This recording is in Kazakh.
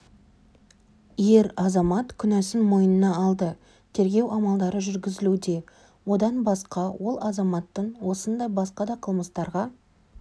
ер азамат күнәсін мойнына алды тергеу амалдары жүргізілуде одан басқа ол азаматтың осындай басқа да қылмыстарға